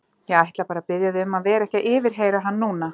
Ég ætla bara að biðja þig um að vera ekki að yfirheyra hann núna.